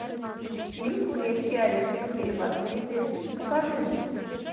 фильм крепкий орешек три возмездие покажи мне